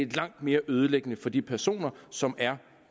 langt mere ødelæggende for de personer som er